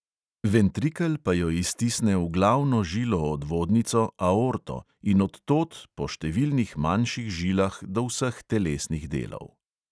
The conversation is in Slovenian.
Ventrikel pa jo iztisne v glavno žilo odvodnico – aorto in od tod po številnih manjših žilah do vseh telesnih delov.